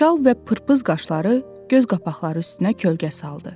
Çal və pırpız qaşları göz qapaqları üstünə kölgə saldı.